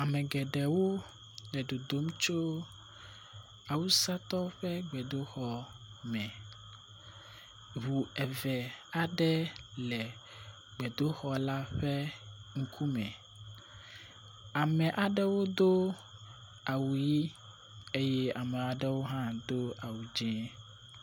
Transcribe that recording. Ame geɖewo le dodom tso awusatɔwo ƒe gbedoxɔ me. Ŋu eve aɖe le gbedoxɔ la ƒe ŋku me. Ame aɖewo do awu ʋi eye ame aɖewo hã do awu dzi.